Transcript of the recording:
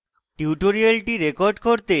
tutorial record করতে